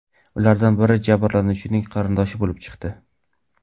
Ulardan biri jabrlanuvchining qarindoshi bo‘lib chiqdi.